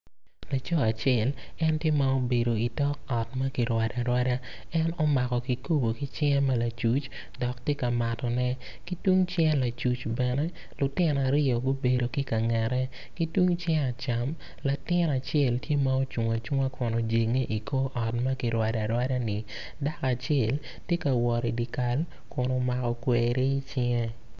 Laco acel en tye m obedo itok ot ma kirwado arwada en omako kikopo ki cinge ma lacuc dok tye ka matone ki tung cinge lacuc bene lutino aryo gubedo ki kangette ki tung cinge acam latin acel tye ma ocung acunga kun ojenge i kor ot ma kirwado arwada-ni dako acel tye ka wot idyekal kun omako gweri icinge.